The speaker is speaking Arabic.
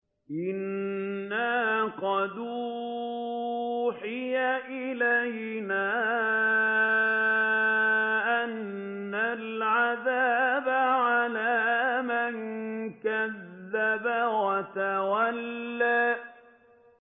إِنَّا قَدْ أُوحِيَ إِلَيْنَا أَنَّ الْعَذَابَ عَلَىٰ مَن كَذَّبَ وَتَوَلَّىٰ